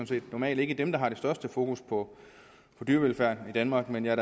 set normalt ikke dem der har det største fokus på dyrevelfærd i danmark men jeg